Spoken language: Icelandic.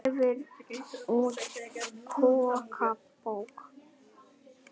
Gefur út kokkabók